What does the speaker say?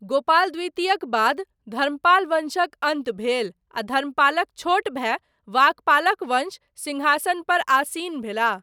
गोपाल द्वितीयक बाद, धर्मपाल वंशक अन्त भेल आ धर्मपालक छोट भाय, वाकपालक वंश, सिंहासनपर आसीन भेलाह।